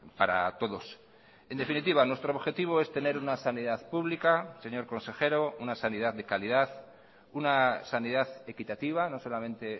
para todos en definitiva nuestro objetivo es tener una sanidad pública señor consejero una sanidad de calidad una sanidad equitativa no solamente